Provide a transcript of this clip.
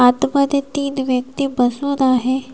आत मध्ये तीन व्यक्ती तिथे बसून आहेत.